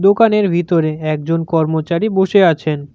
দোকানের ভিতরে একজন কর্মচারী বসে আছেন।